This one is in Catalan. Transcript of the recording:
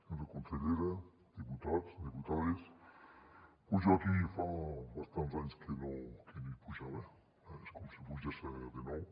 senyora consellera diputats diputades pos jo aquí fa bastants anys que no hi pujava eh és com si hi pugés de nou